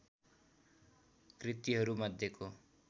कृतिहरू मध्येको